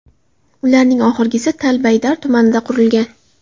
Ularning oxirgisi Tal-Baydar tumanida qurilgan.